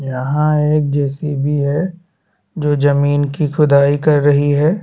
यहाँ एक जे.सी.बी. है जो जमींन की खुदाई कर रही है।